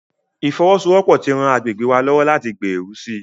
Ìfọwọ́sowọ́pọ̀ ti ran àgbègbè wa lọ́wọ́ láti gbèrú sí i.